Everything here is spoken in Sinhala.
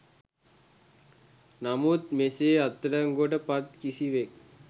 නමුත් මෙසේ අත්අඩංගුවට පත් කිසිවෙක්